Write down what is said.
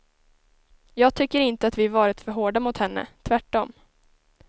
Jag tycker inte att vi varit för hårda mot henne, tvärtom.